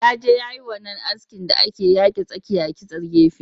Ya je yayi wannan askin da ake yake tsakiya a kitse gefe